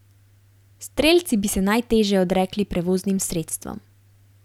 Strelci bi se najteže odrekli prevoznim sredstvom.